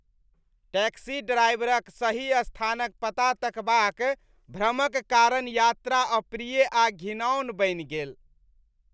Taxi ड्राइवरक सही स्थानक पता तकबाक भ्रमक कारण यात्रा अप्रिय आ घिनौन बनि गेल ।